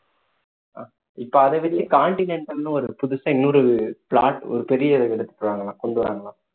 அஹ் இப்ப அத வச்சு continental னு ஒரு புதுசா இன்னொரு plot ஒரு பெரிய எடுக்கப் போறாங்களாம் கொண்டு வர்றாங்களாம்